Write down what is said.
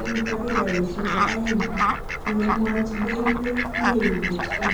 ing dakikashek aeng,"kikimwach DailyMail.com.